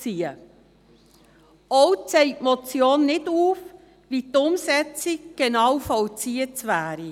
Auch zeigt die Motion nicht auf, wie die Umsetzung genau zu vollziehen wäre.